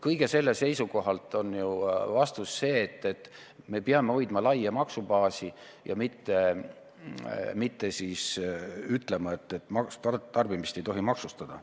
Kõige selle seisukohalt on õige suund see, et me peame hoidma laia maksubaasi ja mitte ütlema, et tarbimist ei tohi maksustada.